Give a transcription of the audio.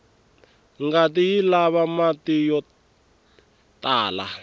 ngati yilava mati yotlala